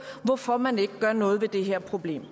hvorfor man ikke gør noget ved det her problem